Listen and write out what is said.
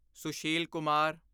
Sushil Kumar